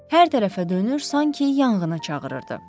Hər tərəfə dönür, sanki yanğını çağırırdı.